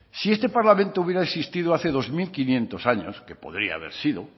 si este parlamento hubiera existido hace dos mil quinientos años que podría haber sido